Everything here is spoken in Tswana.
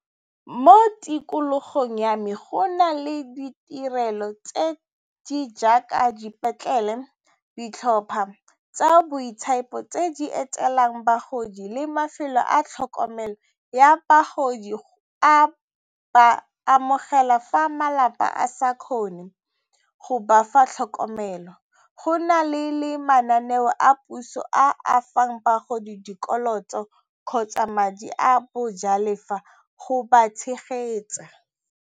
Mo tikologong ya me go na le ditirelo tse di jaaka dipetlele, ditlhopha tsa boitshepo tse di etelang bagodi le mafelo a tlhokomelo ya bagodi go ba amogela fa malapa a sa kgone go ba fa tlhokomelo. Go na le le mananeo a puso a fang bagodi dikoloto kgotsa madi a bojalefa go ba tshegetsa.